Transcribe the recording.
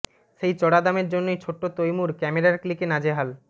সেই চড়া দামের জন্যই ছোট্ট তৈমুর ক্যামেরার ক্লিকে নাজেহাল